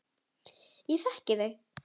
Ég þekki þau.